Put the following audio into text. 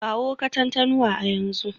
Kawo Katantanwa a yanzu